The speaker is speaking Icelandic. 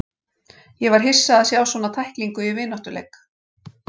Ég var hissa á að sjá svona tæklingu í vináttuleik.